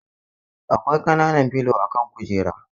Akwai kanan filo a kan kujera.